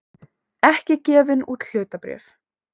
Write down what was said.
ekki gefin út hlutabréf.